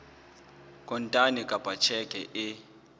kontane kapa ka tjheke e